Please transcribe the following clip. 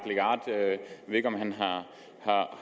legarth